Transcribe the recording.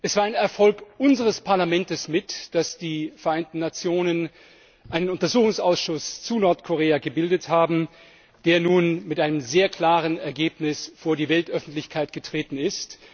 Es war mit ein Erfolg unseres Parlaments, dass die Vereinten Nationen einen Untersuchungsausschuss zu Nordkorea gebildet haben, der nun mit einem sehr klaren Ergebnis vor die Weltöffentlichkeit getreten ist.